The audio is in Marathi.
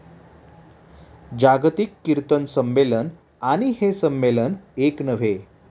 जागतिक किर्तन संमेलन आणि हे संमेलन एक नव्हे.